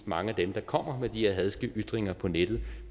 mange af dem der kommer med de her hadske ytringer på nettet